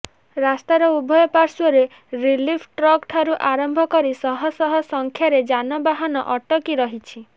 ରାସ୍ତାର ଉଭୟ ପାର୍ଶ୍ବରେ ରିଲିଫ୍ ଟ୍ରକ୍ଠାରୁ ଆରମ୍ଭ କରି ଶହ ଶହ ସଂଖ୍ୟାରେ ଯାନବାହାନ ଅଟକି ରହିଛି